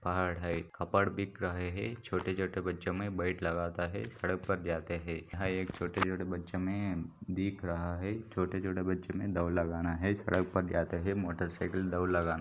पहाड़ है कपड़ बिक रहे है छोटे छोटे बच्चों मे बैट लगता है सड़क पर जाते है यहा एक छोटे छोटे बच्चो मे दिख रहा है छोटे छोटे बच्चो मे दौड़ लगाना है सड़क पर जाते है मोटर साइकिल दौड़ लगाना --